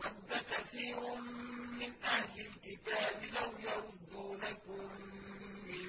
وَدَّ كَثِيرٌ مِّنْ أَهْلِ الْكِتَابِ لَوْ يَرُدُّونَكُم مِّن